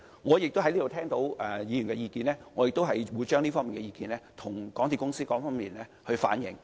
我在此聽取議員的意見後，亦會向港鐵公司反映。